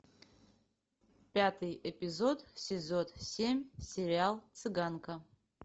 пятый эпизод сезон семь сериал цыганка